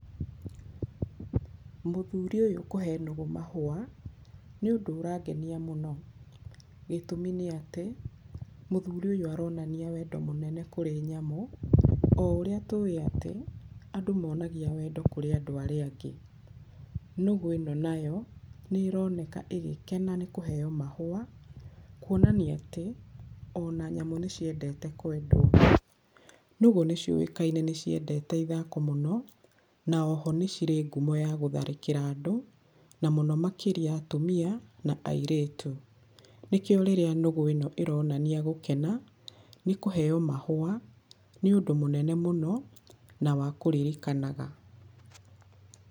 Mũthuri ũyũ kũhe nũgũ mahũa nĩ ũndũ ũrangenĩa mũno, gĩtũmi nĩati, mũthuri ũyũ aronania wendo mũnene kũrĩ nyamũ, oũrĩa tũĩ atĩ, andũ monagia wendo kũrĩ andũ arĩa angĩ. Nũgũ ĩno nayo nĩĩroneka ĩgĩkena nĩ kũheyo mahũa, kuonania atĩ ona nyamũ nĩciendete kwendwo. Nũgũ nĩcioĩkaine nĩciendete ithako mũno na oho nĩcirĩ ngumo ya gũtharĩkĩra andũ na mũno makĩria atumia na airĩtu, nĩkio rĩrĩa nũgũ ĩno ĩronania gũkena nĩ kũheo mahũa nĩũndũ mũnene mũno na wa kũririkanaga.